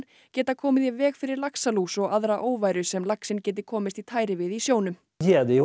geta komið í veg fyrir laxalús og aðra óværu sem laxinn geti komist í tæri við í sjónum